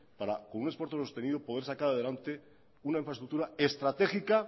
para con un esfuerzo sostenido poder sacar adelante una infraestructura estratégica